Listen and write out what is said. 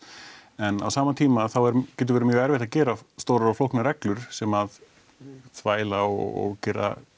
en á sama tíma þá getur verið mjög erfitt að gera stórar og flóknar reglur sem að þvæla og gera